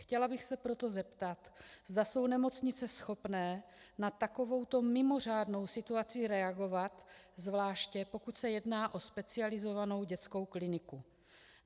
Chtěla bych se proto zeptat, zda jsou nemocnice schopné na takovouto mimořádnou situaci reagovat, zvláště pokud se jedná o specializovanou dětskou kliniku.